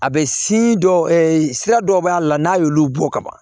A bɛ dɔw sira dɔw b'a la n'a y'olu bɔ ka ban